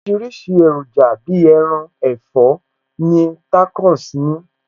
Oríṣiríṣi èròjà Bíi ẹran, ẹ̀fọ́ ni Tacos ní